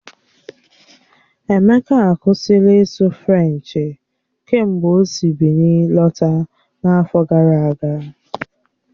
Emeka akwụsịla ịsụ Frenchi kemgbe o si Bịnin lọta n'afọ gara aga.